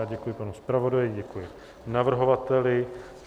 Já děkuji panu zpravodaji, děkuji navrhovateli.